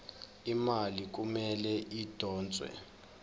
imali kumele idonswe